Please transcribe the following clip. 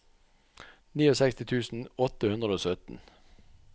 sekstini tusen åtte hundre og sytten